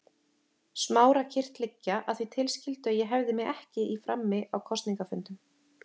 Smára kyrrt liggja, að því tilskildu að ég hefði mig ekki í frammi á kosningafundum.